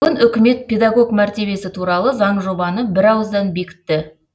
бүгін үкімет педагог мәртебесі туралы заңжобаны бірауыздан бекітті